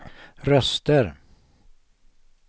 röster